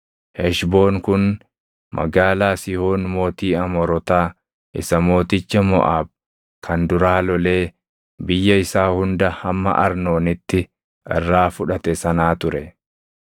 Heshboon kun magaalaa Sihoon mootii Amoorotaa isa mooticha Moʼaab kan duraa lolee biyya isaa hunda hamma Arnoonitti irraa fudhate sanaa ture.